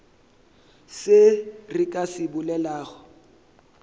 se re ka se bolelago